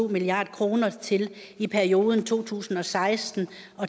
milliard kroner i perioden to tusind og seksten